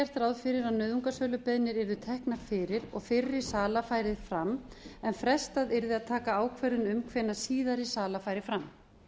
gert ráð fyrir að nauðungarsölubeiðnir yrðu teknar fyrir og fyrri sala færi fram en frestað yrði að taka ákvörðun um hvenær síðari sala færi fram